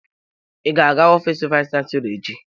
Ị ga-aga ofiisi vayis chansilọ echi?